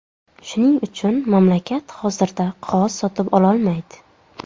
Shuning uchun, mamlakat hozirda qog‘oz sotib ololmaydi.